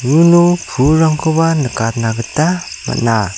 uno pulrangkoba nikatna gita man·a.